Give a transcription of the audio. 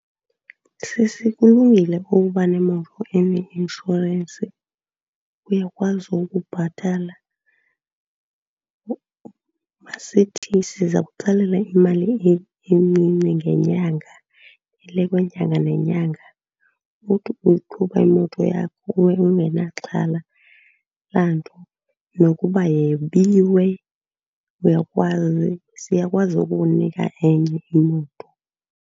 Sisi, kulungile ukuba nemoto eneinshorensi. Uyakwazi ukubhatala, masithi siza kutsalela imali encinci ngenyanga, ele kwenyanga nenyanga, uthi uyiqhuba imoto yakho ube ungenaxhala lanto. Nokuba yebiwe uyakwazi, siyakwazi ukukunika enye imoto.